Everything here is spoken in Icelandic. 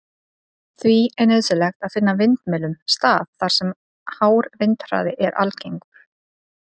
Því er nauðsynlegt að finna vindmyllum stað þar sem hár vindhraði er algengur.